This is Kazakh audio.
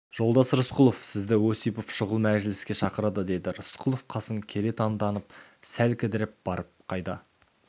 жолдас рысқұлов сізді осипов шұғыл мәжіліске шақырады деді рысқұлов қасын кере таңданып сәл кідіріп барып қайда